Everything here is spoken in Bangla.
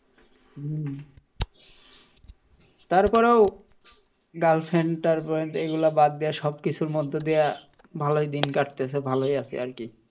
হম তারপরেও girlfriend টালফ্রেন্ড এই গুলা বাদ দিয়ে সবকিছুর মধ্য দিয়া ভালোই দিন কাটাচ্ছে ভালোই আছি আরকি,